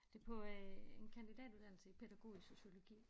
Det på øh en kandidatuddannelse i pædagogisk sociologi